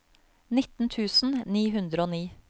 nitten tusen ni hundre og ni